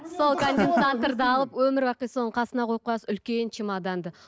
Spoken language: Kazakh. өмір бақи соны қасыңа қойып қоясыз үлкен чемоданды